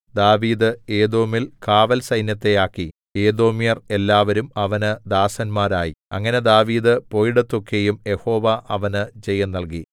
ദാവീദ് ഏദോമിൽ കാവൽസൈന്യത്തെ ആക്കി ഏദോമ്യർ എല്ലാവരും അവന് ദാസന്മാർ ആയി അങ്ങനെ ദാവീദ് പോയിടത്തൊക്കെയും യഹോവ അവന് ജയം നല്കി